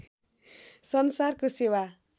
संसारको सेवा